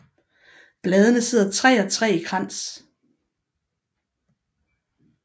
Bladene sidder 3 og 3 i krans